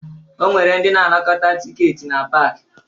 O nwere ndị na-anakọta tikeeti na paakị